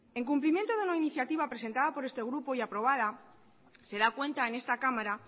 en cumplimiento de la iniciativa presentada por este grupo y aprobada se da cuenta en esta cámara